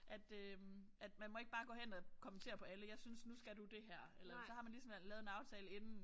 At øh at man må ikke bare gå hen og kommentere på alle jeg synes nu skal du det her eller så har man ligesom lavet en aftale inden